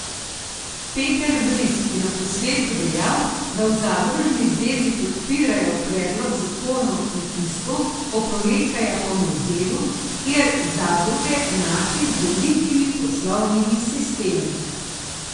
Peter Vrisk je na posvetu dejal, da v zadružni zvezi podpirajo predlog zakona o kmetijstvu, oporekajo pa mu v delu, kjer zadruge enači z velikimi poslovnimi sistemi.